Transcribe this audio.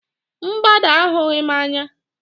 Mgbada ahụghị m anya